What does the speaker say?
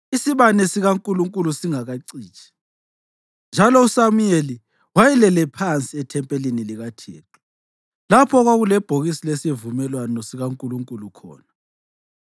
Isibane sikaNkulunkulu sasingakacitshi, njalo uSamuyeli wayelele phansi ethempelini likaThixo, lapho okwakulebhokisi lesivumelwano sikaNkulunkulu khona.